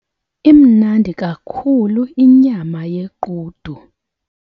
Imnandi kakhulu inyama yequdu.